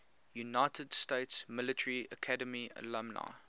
united states military academy alumni